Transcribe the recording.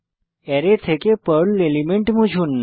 array থেকে Perl element মুছুন